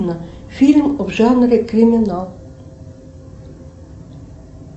фильм в жанре криминал